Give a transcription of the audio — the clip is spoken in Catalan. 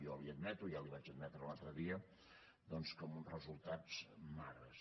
jo li admeto ja li ho vaig admetre l’altre dia que amb uns resultats magres